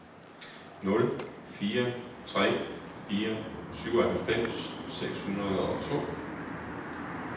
nul fire tre fire syvoghalvfems seks hundrede og to